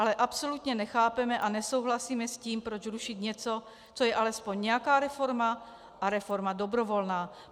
Ale absolutně nechápeme a nesouhlasíme s tím, proč rušit něco, co je alespoň nějaká reforma a reforma dobrovolná.